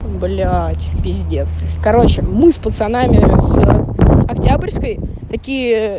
блять пиздец короче мы с пацанами с октябрьской такие